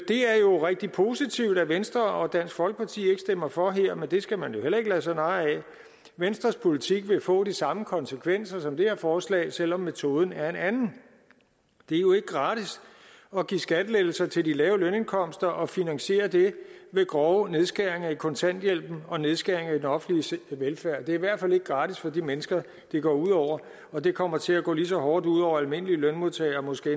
rigtig positivt at venstre og dansk folkeparti ikke stemmer for her men det skal man jo heller ikke lade sig narre af venstres politik vil få de samme konsekvenser som det her forslag selv om metoden er en anden det er jo ikke gratis at give skattelettelser til de lave lønindkomster og finansiere det med grove nedskæringer i kontanthjælpen og nedskæringer i den offentlige velfærd det er i hvert fald ikke gratis for de mennesker det går ud over og det kommer til at gå lige så hårdt ud over almindelige lønmodtagere måske